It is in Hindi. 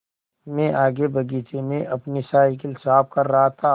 मैं आगे बगीचे में अपनी साईकिल साफ़ कर रहा था